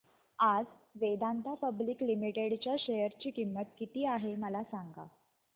आज Vedanta public limited च्या share ची किंमत किती आहे मला सांगा